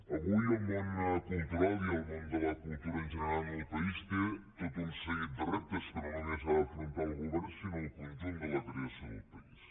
avui el món cultural i el món de la cultura en general en el país té tot un seguit de reptes que no només ha d’afrontar el govern sinó el conjunt de la creació del país